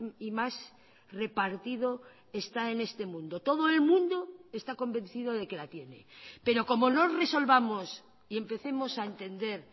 y más repartido está en este mundo todo el mundo está convencido de que la tiene pero como no resolvamos y empecemos a entender